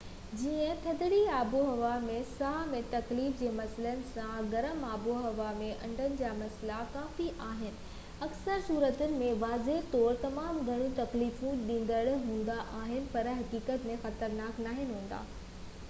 جئين ٿڌڙي آبهوائن ۾ ساهه ۾ تڪليف جي مسئلن سان گرم آبهوائن ۾ آنڊن جا مسئلا ڪافي عام آهن ۽ اڪثر صورتن ۾ واضح طور تمام گهڻا تڪليف ڏيندڙ هوندا آهن پر حقيقت ۾ خطرناڪ ناهن هوندا